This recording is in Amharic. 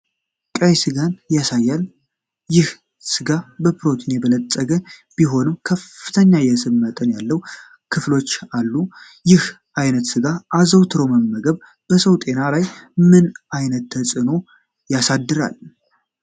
ቀይ ሥጋን ያሳያል። ይህ ሥጋ በፕሮቲን የበለፀገ ቢሆንም፣ ከፍተኛ የስብ መጠን ያለው ክፍሎች አሉ። ይህን ዓይነት ሥጋ አዘውትሮ መመገብ በሰው ጤና ላይ ምን ያህል ተጽዕኖ ያሳድራል?